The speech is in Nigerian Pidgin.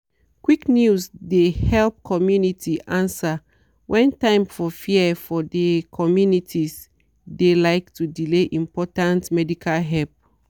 quick news dey help community answer when time for fear for de communities de like to delay important medical help.